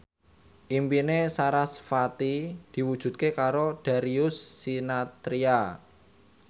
impine sarasvati diwujudke karo Darius Sinathrya